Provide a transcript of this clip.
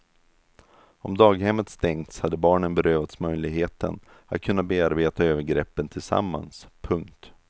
Om daghemmet stängts hade barnen berövats möjligheten att kunna bearbeta övergreppen tillsammans. punkt